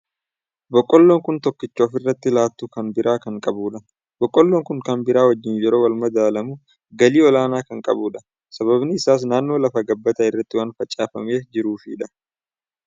Boqqolloon kun tokkicha ofirratti lattuu kan biroo kan qabudha. Boqqolloon kun kan biraa wajjin yeroo wal madaalamu galii olaanaa kan qabudha. Sababni isaas naannoo lafa gabbataa irratti waan facaafamee jiruufidha.